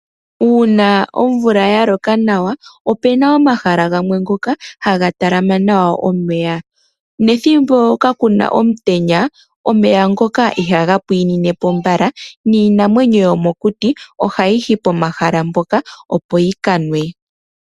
Uuna omvula yaloka nawa, opena omahala gamwe ngoka haga talama nawa omeya. Nethimbo ka kuna omutenya omeya ngoka ihaga pwinepo mbala, niinamwenyo yomokuti ohayi yi pomahala mpoka opo yikanwe.